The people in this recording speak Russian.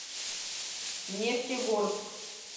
нефтегорск